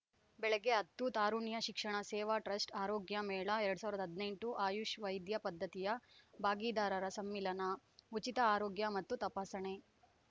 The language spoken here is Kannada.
ಬೆಳಗ್ಗೆ ಹತ್ತು ತಾರುಣ್ಯ ಶಿಕ್ಷಣ ಸೇವಾ ಟ್ರಸ್ಟ್ ಆರೋಗ್ಯ ಮೇಳ ಎರಡ್ ಸಾವಿರದ ಹದಿನೆಂಟು ಆಯುಷ್‌ ವೈದ್ಯ ಪದ್ಧತಿಯ ಭಾಗಿದಾರರ ಸಮ್ಮಿಲನ ಉಚಿತ ಆರೋಗ್ಯ ಮತ್ತು ತಪಾಸಣೆ